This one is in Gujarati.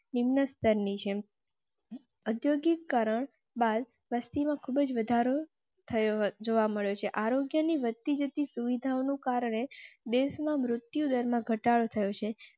નિમ્ન સ્તર ની ઔદ્યોગિકરણ બાલ વસતિ માં ખુબજ વધારો. જોવા મળ્યો છે. આરોગ્ય ની વધ તી જતી સુવિધાઓ નું કારણે દેશ માં મૃત્યુ દર માં ઘટાડો થયો છે.